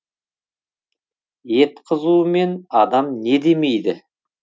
ет қызуымен адам не демейді